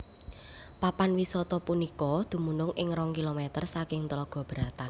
Papan wisata punika dumunung ing rong Kilomèter saking Tlaga Beratan